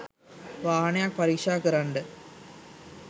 වාහනයක් පරීක්ෂා කරන්න